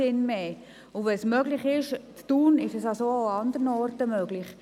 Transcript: Wenn es ist in Thun möglich ist, ist es auch andernorts möglich.